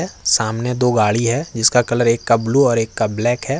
सामने दो गाड़ी है जिसका कलर एक का ब्लू और एक का ब्लैक है।